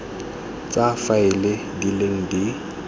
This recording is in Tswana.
tsa faele di leng di